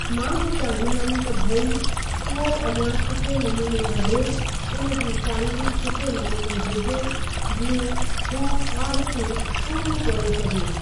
मां बि चाहींदमि त भइ उहो अॻियां सुठे नमूने वधे उन जी सैलरी सुठे नमूने हुजे जीअं हू ख्वाहिशूं पूरियूं करे सघे।